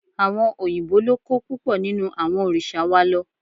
Àwọn òyìnbó ló kó púpọ̀ nínú àwọn òrìṣà wa lọ